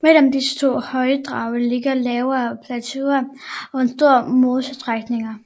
Mellem disse to højdedrag ligger lavere plateauer og store mosestrækninger